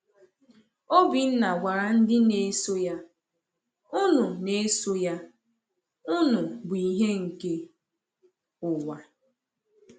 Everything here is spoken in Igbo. Obinna gwara ndị na-eso ya: Unu na-eso ya: Unu bụ ìhè nke ụwa.